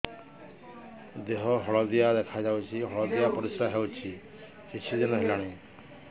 ଦେହ ହଳଦିଆ ଦେଖାଯାଉଛି ହଳଦିଆ ପରିଶ୍ରା ହେଉଛି କିଛିଦିନ ହେଲାଣି